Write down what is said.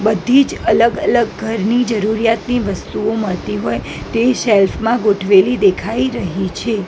બધીજ અલગ અલગ ઘરની જરૂરિયાતની વસ્તુઓ મળતી હોય તે શેલ્ફ મા ગોઠવેલી દેખાય રહી છે.